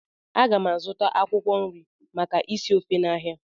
A ga m azụta akwụkwọ nri maka isi ofe n'ahịa